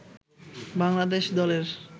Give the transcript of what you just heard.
বাংলাদেশ দলের